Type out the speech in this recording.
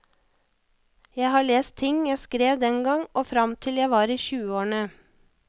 Jeg har lest ting jeg skrev den gang og frem til jeg var i tyveårene.